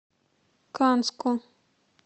канску